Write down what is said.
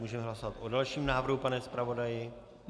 Můžeme hlasovat o dalším návrhu, pane zpravodaji.